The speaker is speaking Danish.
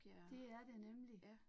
Det er det nemlig